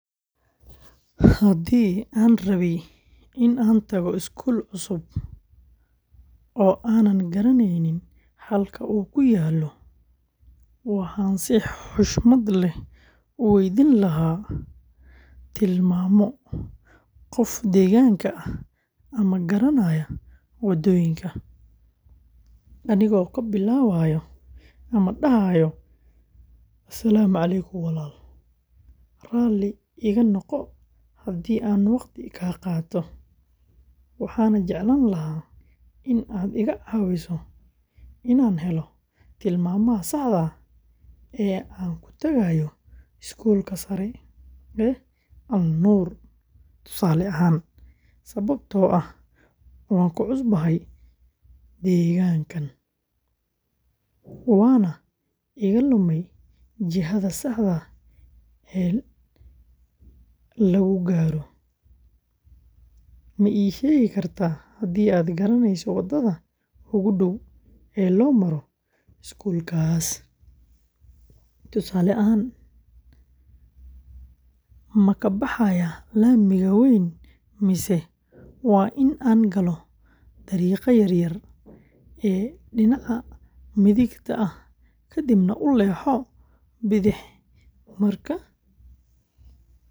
Haddii aan rabay in aan tago iskuul cusub oo aanan garanayn halka uu ku yaallo, waxaan si xushmad leh u weydiin lahaa tilmaamo qof deegaanka ah oo garanaya waddooyinka, anigoo dhahaya: "Asc walaal, raalli iga noqo haddii aan waqti kaa qaato, waxaan jeclaan lahaa in aad iga caawiso inaan helo tilmaamaha saxda ah ee aan ku tagayo iskuulka sare ee Al-Nuur, sababtoo ah waan ku cusubahay deegaankaan waana iga lumay jihada saxda ah ee lagu gaaro. Ma ii sheegi kartaa haddii aad garanayso waddada ugu dhow ee loo maro iskuulkaas? Tusaale ahaan, ma ka baxayaa laamiga weyn mise waa in aan galo dariiqa yar ee dhinaca midigta ah kadibna u leexdo bidix marka aan gaaro isgoyska.